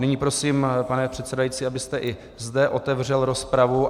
Nyní prosím, pane předsedající, abyste i zde otevřel rozpravu.